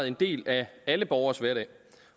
en del af alle borgeres hverdag